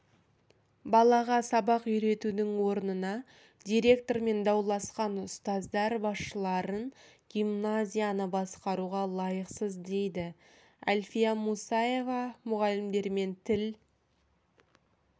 балаға сабақ үйретудің орнына директормен дауласқан ұстаздар басшыларын гимназияны басқаруға лайықсыз дейді әлфия мұсаева мұғалімдермен тіл